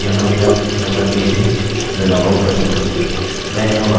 मैं लॉगिन हूँ यहाँ मेरा मेम्बर पेज है मैं लॉगआउट कर सकता हूँ मैं यहाँ वापस आता हूँ